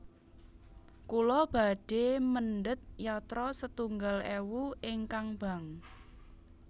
Kula badhe mendhet yatra setunggal ewu ingkang bank